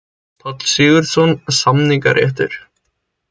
Páll Sigurðsson: Samningaréttur.